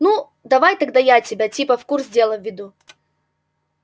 ну давай тогда я тебя типа в курс дела введу